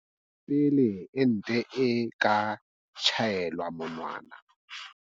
Pele ente e ka tjhaelwa monwana.